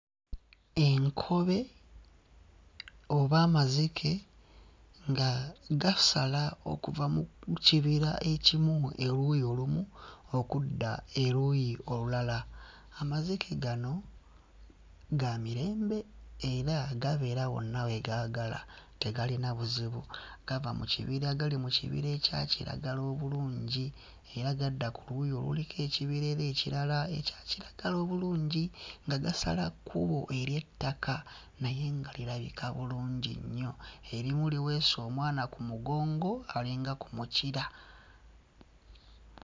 Enkobe oba amazike nga gasala okuva mu kibira ekimu oluuyi olumu okudda eruuyi olulala. Amazike gano ga mirembe era gabeera wonna we gaagala tegalina buzibu. Gava mu kibira gali mu kibira akya kiragala obulungi era gadda ku luuyi oluliko ekibira era ekirala ekya kiragala obulungi nga gasala kkubo ery'ettaka naye nga lirabika bulungi nnyo. Erimu liweese omwana ku mugongo ali nga ku mpulira.